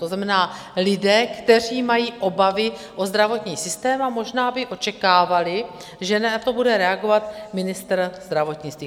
To znamená lidé, kteří mají obavy o zdravotní systém a možná by očekávali, že na to bude reagovat ministr zdravotnictví.